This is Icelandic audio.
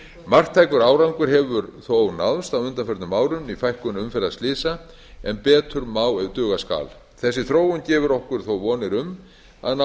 marktækur árangur hefur þó náðst á undanförnum árum í fækkun umferðarslysa en betur má ef duga skal þessi þróun gefur okkur þó vonir um að ná